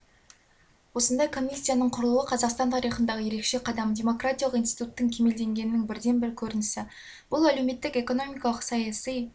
осындай комиссияның құрылуы қазақстан тарихындағы ерекше қадам демократиялық институттың кемелденгенінің бірден-бір көрінісі бұл әлеуметтік экономикалық саяси